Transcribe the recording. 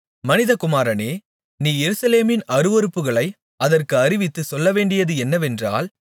மனிதகுமாரனே நீ எருசலேமின் அருவருப்புகளை அதற்கு அறிவித்துச் சொல்லவேண்டியது என்னவென்றால்